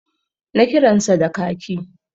Na kiransa da kaki